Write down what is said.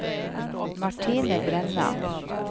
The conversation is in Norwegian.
Martine Brenna